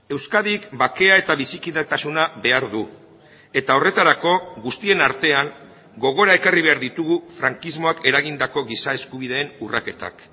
euskadik bakea eta bizikidetasuna behar du eta horretarako guztien artean gogora ekarri behar ditugu frankismoak eragindako giza eskubideen urraketak